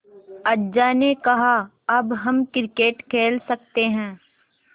अज्जा ने कहा अब हम क्रिकेट खेल सकते हैं